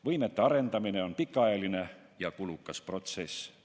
Võimete arendamine on pikaajaline ja kulukas protsess.